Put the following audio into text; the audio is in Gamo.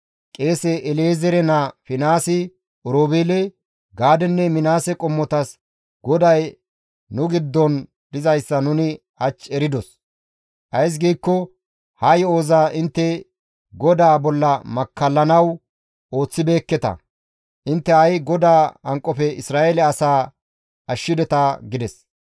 Qeese El7ezeere naa Finihaasi Oroobeele, Gaadenne Minaase qommotas, «GODAY nu giddon dizayssa nuni hach eridos; ays giikko ha yo7oza intte GODAA bolla makkallanaas ooththibeekketa. Intte ha7i GODAA hanqofe Isra7eele asaa ashshideta» gides.